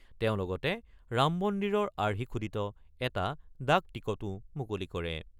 তেওঁ লগতে ৰাম মন্দিৰৰ আৰ্হি খোদিত এটা ডাক টিকটো মুকলি কৰে।